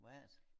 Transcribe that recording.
Hvad er det?